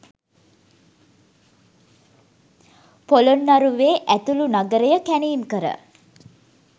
පොළොන්නරුවේ ඇතුළු නගරය කැණීම්කර,